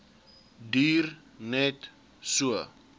duur net so